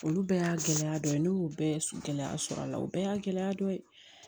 Olu bɛɛ y'a gɛlɛya dɔ ye ne y'o bɛɛ gɛlɛya sɔrɔ a la o bɛɛ y'a gɛlɛya dɔ ye